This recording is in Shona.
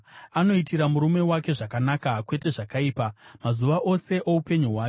Anoitira murume wake zvakanaka, kwete zvakaipa, mazuva ose oupenyu hwake.